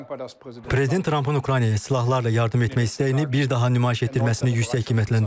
Prezident Trumpın Ukraynaya silahlarla yardım etmək istəyini bir daha nümayiş etdirməsini yüksək qiymətləndirirəm.